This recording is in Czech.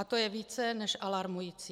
A to je více než alarmující.